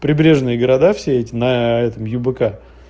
прибрежные города все на этом юбк